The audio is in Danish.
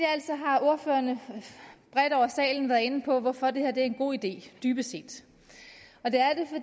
har ordførerne bredt over salen været inde på hvorfor det her er en god idé dybest set